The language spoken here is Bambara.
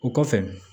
O kɔfɛ